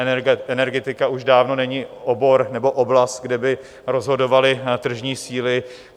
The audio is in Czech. Energetika už dávno není obor nebo oblast, kde by rozhodovaly tržní síly.